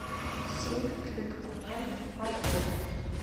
сейф для документов в отеле